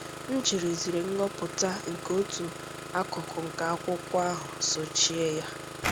Ma jirizie ngụpụta nke otu akụkụ nke akwụkwọ ahụ sochie ya!